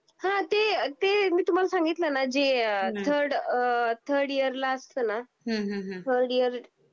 हां ते, ते मी तुम्हाला सांगितल ना जे थर्ड अ थर्ड इयरला असतना, हम्म हम्म हम्म थर्ड इयर